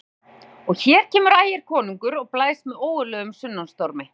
SKÚLI: Og hér kemur Ægir konungur og blæs með ógurlegum sunnanstormi.